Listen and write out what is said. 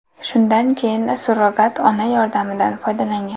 Shundan keyin surrogat ona yordamidan foydalangan.